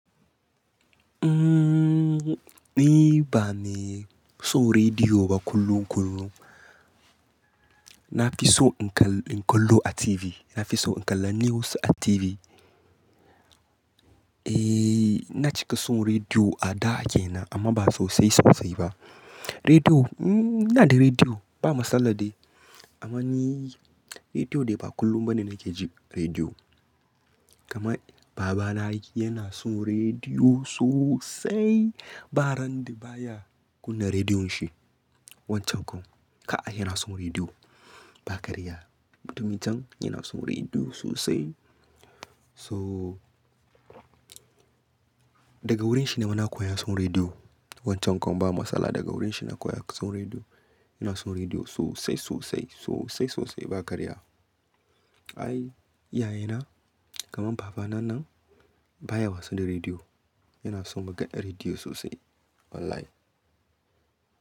Ni ba me son rediyo ba kullum kullum. Na fi son in kallo a TV, na fi son in kalla news a TV. Eh, na cika son rediyo a da ke nan amma ba sosai sosai ba. Rediyo, ina da rediyo ba matsala dai amma ni rediyo dai ba kullum ba ne nake jin rediyo. Kaman baba na yana son rediyo sosai. Ba ran da ba ya kunna rediyon shi. Wancan kam, ka'a yana son rediyo ba karya. Mutumin can yana son rediyo sosai. So daga wurin shi ne nima koya son rediyo. Wancan kam ba matsala daga wurin shi na koya son rediyo. Yana son rediyo sosai sosai sosai sosai ba karya. Ai, iyaye na kamar baba na nan baya wasa da rediyo. Yana son maganar rediyo sosai wallahi.